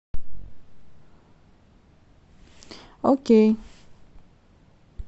окей